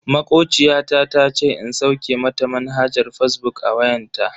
Makociya ta tace in sauke mata manhajar fazbuk a wayanta.